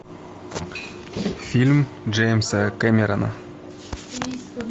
фильм джеймса кэмерона